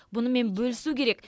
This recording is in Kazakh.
бұнымен бөлісу керек